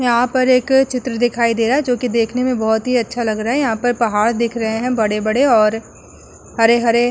यहाँ पर एक चित्र दिखाई दे रहा है जोकि देखने में बहोत अच्छा लग रहा है। यहाँ पर पहाड़ दिख रहे हैं बड़े-बड़े और हरे-हरे --